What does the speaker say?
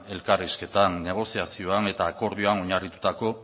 elkarrizketan negoziazioan eta akordioan oinarritutako